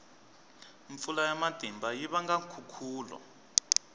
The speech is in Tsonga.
mpfula ya matimba yi vanga nkhukhulo